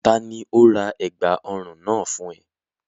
Ta ni ó ra ẹ̀gbà ọrùn náà fún ẹ?